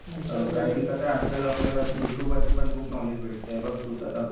अ बाकी कसं आहे आजकाल आपल्याला युट्युब वरती पण खूप नॉलेज भेटतंय. बघ तूच आता.